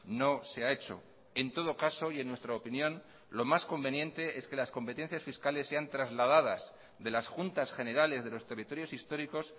no se ha hecho en todo caso y en nuestra opinión lo más conveniente es que las competencias fiscales sean trasladadas de las juntas generales de los territorios históricos